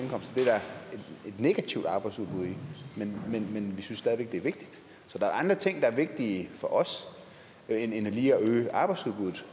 negativt arbejdsudbud i men vi synes stadig væk det er vigtigt så der er andre ting der er vigtige for os end det lige at øge arbejdsudbuddet